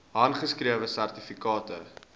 handgeskrewe sertifikate